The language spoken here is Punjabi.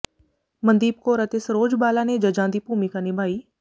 ਮਨਦੀਪ ਕੌਰ ਅਤੇ ਸਰੋਜ ਬਾਲਾ ਨੇ ਜੱਜਾਂ ਦੀ ਭੂਮਿਕਾ ਨਿਭਾਈ